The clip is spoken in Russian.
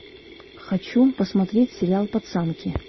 хочу посмотреть сериал пацанки